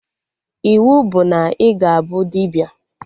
Iwu bụ na ị ga-abụ dibịa!